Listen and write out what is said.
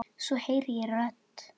Ert þetta þú?